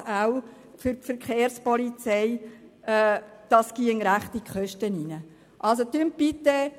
Kosten verbunden wären.